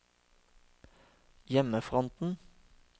hjemmefronten